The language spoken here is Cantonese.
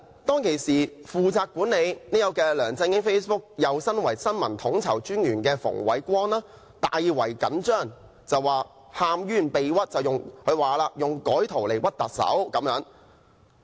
當時負責管理梁振英 Facebook 帳戶，又兼為新聞統籌專員的馮煒光大為緊張，喊冤被屈，說是有人以改圖來"屈"特首。